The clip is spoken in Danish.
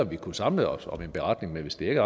vi kunne samle os om en beretning men hvis det ikke